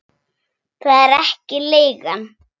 Það er ekki leigan.